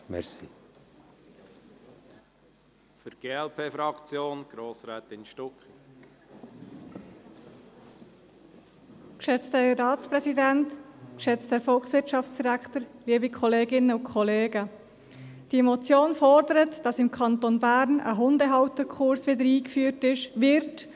Diese Motion fordert, dass im Kanton Bern der Hundehalterkurs, der zwischen 2008 und 2016 durch die TSchV vorgeschrieben war, wieder eingeführt wird.